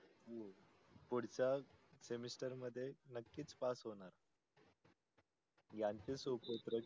पुडचा semester मधे नक्किच pass होनार याचे सोबत